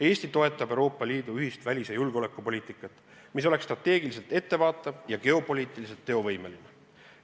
Eesti toetab Euroopa Liidu ühist välis- ja julgeolekupoliitikat, mis oleks strateegiliselt ettevaatav ja geopoliitiliselt teovõimeline.